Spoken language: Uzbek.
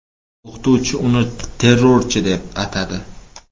O‘qituvchi uni ‘terrorchi’ deb atadi.